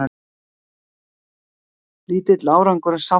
Lítill árangur af sáttafundi